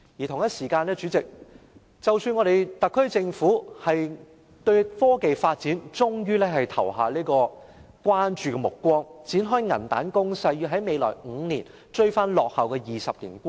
同時，代理主席，特區政府對科技發展終於投以關注目光，展開銀彈攻勢，要在未來5年追回落後的20年。